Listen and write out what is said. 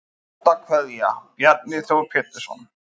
Ástarkveðja Bjarni Þór Pétursson